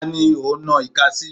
Ta ni ò ń nan ìka sí?